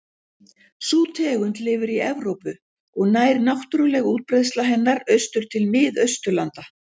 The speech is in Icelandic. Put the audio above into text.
Sú tegund lifir í Evrópu og nær náttúruleg útbreiðsla hennar austur til Mið-Austurlanda.